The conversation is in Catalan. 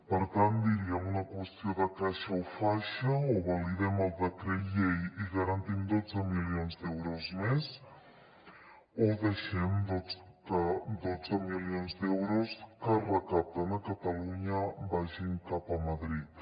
per tant diríem una qüestió de caixa o faixa o validem el decret llei i garantim dotze milions d’euros més o deixem que dotze milions d’euros que es recapten a catalunya vagin cap a madrid